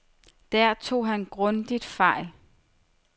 Der tog han grundigt fejl.